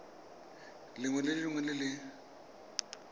lengwe le lengwe le le